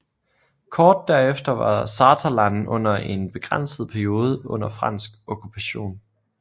Kort der efter var Saterland under en begrænset periode under fransk okkupation